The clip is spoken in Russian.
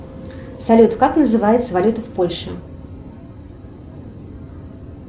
салют как называется валюта в польше